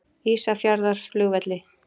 Ísafjarðarflugvelli